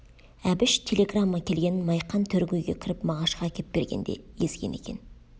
әбіш телеграмма келгенін майқан төргі үйге кіріп мағашқа әкеп бергенде езген екен